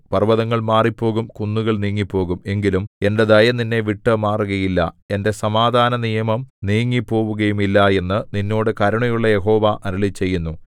പർവ്വതങ്ങൾ മാറിപ്പോകും കുന്നുകൾ നീങ്ങിപ്പോകും എങ്കിലും എന്റെ ദയ നിന്നെ വിട്ടുമാറുകയില്ല എന്റെ സമാധാനനിയമം നീങ്ങിപ്പോവുകയുമില്ല എന്നു നിന്നോട് കരുണയുള്ള യഹോവ അരുളിച്ചെയ്യുന്നു